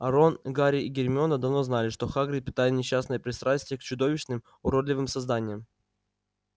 рон гарри и гермиона давно знали что хагрид питает несчастное пристрастие к чудовищным уродливым созданиям